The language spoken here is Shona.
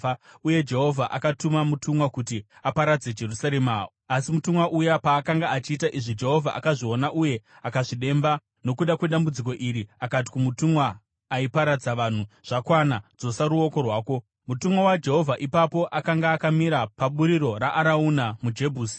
Uye Jehovha akatuma mutumwa kuti aparadze Jerusarema, asi mutumwa uya paakanga achiita izvi Jehovha akazviona uye akazvidemba nokuda kwedambudziko iri akati kumutumwa aiparadza vanhu, “Zvakwana! Dzosa ruoko rwako.” Mutumwa waJehovha ipapo akanga akamira paburiro raArauna muJebhusi.